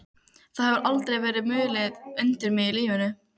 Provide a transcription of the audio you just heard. Það hefur aldrei verið mulið undir mig í lífinu.